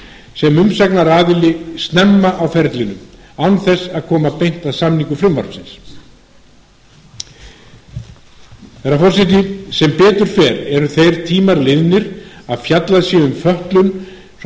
sem umsagnaraðili snemma á ferlinu án þess að koma beint að hamingju frumvarpsins herra forseti sem betur fer eru þeir tímar liðnir að fjallað sé um fötlun svo sem